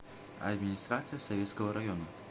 администрация советского района